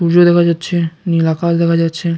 উর্য দেখা যাচ্ছে নীল আকাশ দেখা যাচ্ছে।